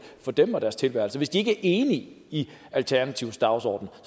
for dem og deres tilværelse hvis de ikke er enige i alternativets dagsorden